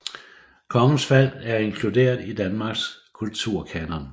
Kongens Fald er inkluderet i Danmarks kulturkanon